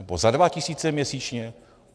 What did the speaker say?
Nebo za dva tisíce měsíčně?